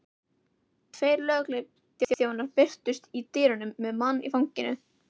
Tveir lögregluþjónar birtust í dyrunum með mann í fanginu.